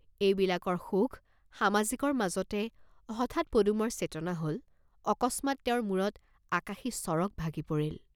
এই বিলাকৰ সুখ সামাজিকৰ মাজতে হঠাৎ পদুমৰ চেতনা হল, অকস্মাৎ তেওঁৰ মুৰত আকাশী চৰগ ভাগি পৰিল।